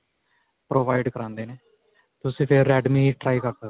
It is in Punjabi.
provide ਕਰਵਾਉਂਦੇ ਨੇ, ਤੁਸੀਂ ਫਿਰ redme try ਕਰ ਸਕਦੇ ਹੋ.